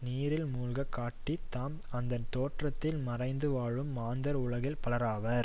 நீரில் மூழ்கி காட்டி தாம் அந்த தோற்றத்தில் மறைந்து வாழும் மாந்தர் உலகில் பலராவர்